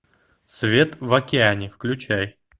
свет в океане включай